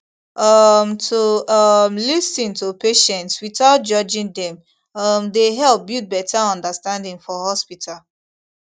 um to um lis ten to patients without judging dem um dey help build better understanding for hospital